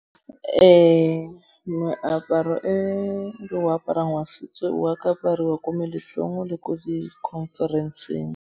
Ee, meaparo e o aparang wa setso wa ka apariwa ko meletlong le ko di conference-eng.